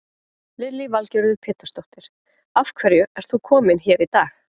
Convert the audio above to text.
Lillý Valgerður Pétursdóttir: Af hverju ert þú kominn hér í dag?